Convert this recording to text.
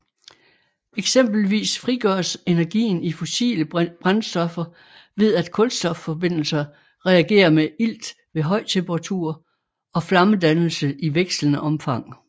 Eksempelvis frigøres energien i fossile brændstoffer ved at kulstofforbindelser reagerer med ilt ved høj temperatur og flammedannelse i vekslende omfang